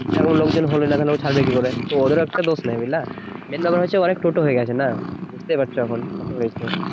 সেরকম লোকজন হলো না তো ও ছাড়বে কি করে তো ওদেরও একটা দোষ নেই বুঝলা main ব্যাপার হচ্ছে অনেক টোটো হয়ে গেছে না বুঝতেই পারছো এখন কত হয়েছে